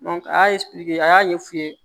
a y'a a y'a ɲɛ f'u ye